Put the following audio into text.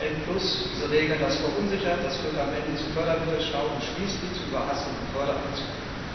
N, diese Regeln, das verunsichert, das führt am Ende zu Fördermittelstau und schließlich zu überhasteten Förderaktionen.